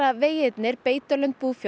vegirnir beitarlandi búfjár